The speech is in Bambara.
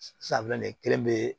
Safinɛ kelen be